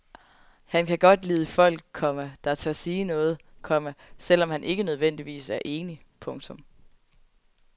Han kan godt lide folk, komma der tør sige noget, komma selv om han ikke nødvendigvis er enig. punktum